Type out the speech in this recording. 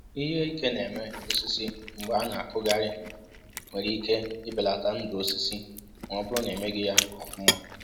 Ihe ike na-eme osisi mgbe a na-akụghari nwere ike i belata ndụ osisi ma ọ bụrụ na emeghị ya ọfụma